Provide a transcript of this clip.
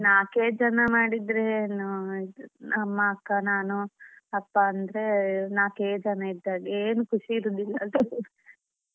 ನಾಲ್ಕೇ ಜನ ಮಾಡಿದ್ರೆ ಅಮ್ಮ ಅಕ್ಕ ನಾನು ಅಪ್ಪ ಅಂದ್ರೆ ನಾಲ್ಕೇ ಜನ ಇದ್ದಾಗೆ ಏನು ಖುಷಿ ಇರೋದಿಲ್ಲ .